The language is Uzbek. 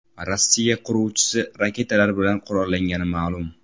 Rossiya qiruvchisi raketalar bilan qurollangani ma’lum.